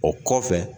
O kɔfɛ